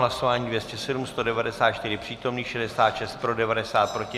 Hlasování 207, 194 přítomných, 66 pro, 90 proti.